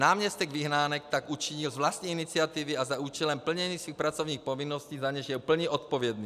Náměstek Vyhnánek tak učinil z vlastní iniciativy a za účelem plnění svých pracovních povinností, za něž je plně odpovědný.